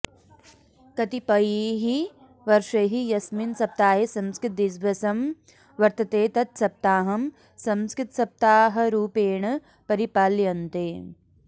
कतिपयैः वर्षैः यस्मिन् सप्ताहे संस्कृतदिवसं वर्तते तत् सप्ताहं संस्कृतसप्ताहरुपेण परिपाल्यन्ते